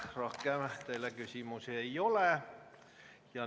Rohkem teile küsimusi ei ole.